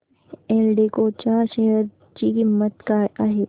एल्डेको च्या शेअर ची किंमत काय आहे